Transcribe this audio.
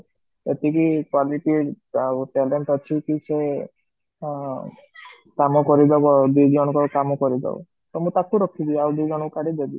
ଏତିକି quality ଆଉ talent ଅଛି ଯେ ଅ କାମ କରିଦବ ଦିଜଣଙ୍କର କାମ କରିଦବ ତ ମୁଁ ଟାକୁ ରଖିବି ଆଉ ଦିଜଣଙ୍କୁ କାଢି ଦେବି